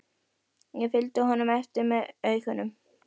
Ég fylgdi honum eftir með augunum.